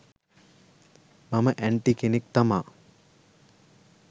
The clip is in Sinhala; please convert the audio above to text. මම ඇන්ටි කෙනෙක් තමා